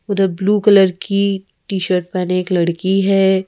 उधर blue colour की t-shirt पहने एक लड़की है ।